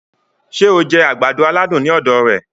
Ṣé o jẹ agbado-aladun ní ọ̀dọ̀ rẹ̀